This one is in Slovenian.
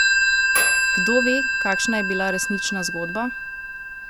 Kdo ve, kakšna je bila resnična zgodba?